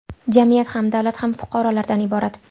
Jamiyat ham, davlat ham fuqarolardan iborat.